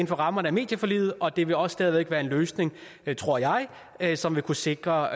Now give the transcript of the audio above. for rammerne af medieforliget og det vil også stadig væk være en løsning tror jeg jeg som vil kunne sikre